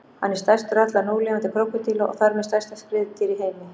Hann er stærstur allra núlifandi krókódíla og þar með stærsta skriðdýr í heimi.